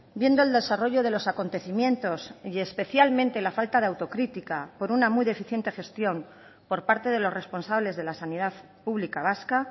viendo el desarrollo de los acontecimientos y especialmente la falta de autocrítica por una muy deficiente gestión por parte de los responsables de la sanidad pública vasca